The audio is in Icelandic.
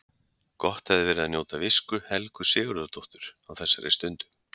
Gott hefði verið að njóta visku Helgu Sigurðardóttur á þessari stundu.